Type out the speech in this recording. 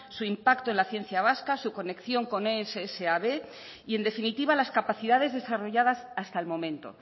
su impacto en la ciencia vasca su conexión con ess a be y en definitiva las capacidades desarrolladas hasta el momento